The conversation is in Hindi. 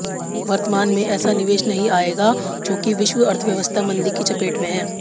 वर्तमान में ऐसा निवेश नहीं आएगा चूंकि विश्व अर्थव्यवस्था मंदी की चपेट में है